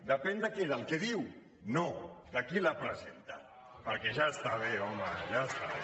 depèn de què del que diu no de qui la presenta perquè ja està bé home ja està bé